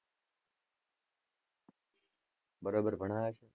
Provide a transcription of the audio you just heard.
બરોબર ભણાવે છે?